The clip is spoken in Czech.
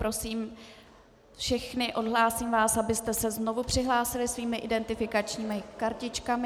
Prosím všechny, odhlásím vás, abyste se znovu přihlásili svými identifikačními kartičkami.